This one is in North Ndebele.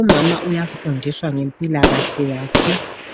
Umama uyafundiswa ngempilakahle yakhe,